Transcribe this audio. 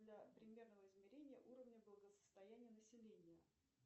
для примерного измерения уровня благосостояния населения